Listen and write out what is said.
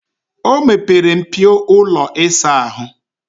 O mepere mpio ụlọ ịsa ahụ.